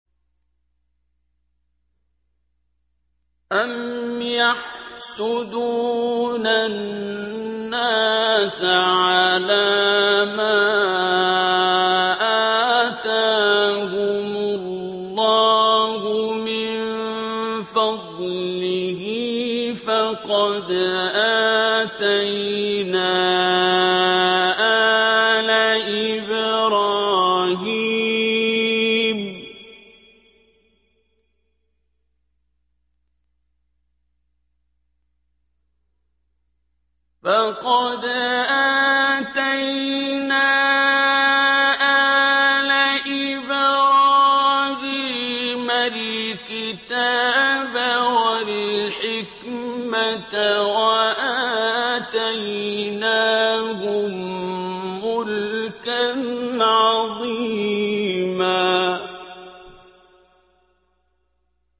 أَمْ يَحْسُدُونَ النَّاسَ عَلَىٰ مَا آتَاهُمُ اللَّهُ مِن فَضْلِهِ ۖ فَقَدْ آتَيْنَا آلَ إِبْرَاهِيمَ الْكِتَابَ وَالْحِكْمَةَ وَآتَيْنَاهُم مُّلْكًا عَظِيمًا